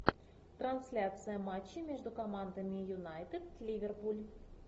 трансляция матча между командами юнайтед ливерпуль